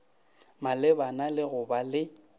malebana le go ba le